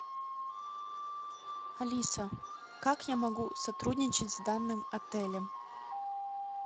алиса как я могу сотрудничать с данным отелем